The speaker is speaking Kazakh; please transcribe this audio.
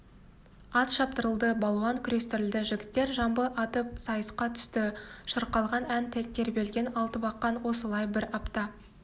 ат шаптырылды балуан күрестірілді жігіттер жамбы атып сайысқа түсті шырқалған ән тербелген алтыбақан осылай бір апта